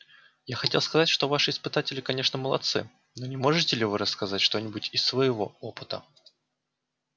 я хотел сказать что ваши испытатели конечно молодцы но не можете ли вы рассказать что-нибудь из своего опыта